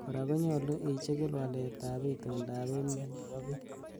Kora konyolu ichigil walet ab itondab emet nebo bii.